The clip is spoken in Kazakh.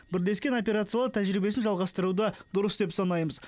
бірлескен операциялар тәжірибесін жалғастыруды дұрыс деп санаймыз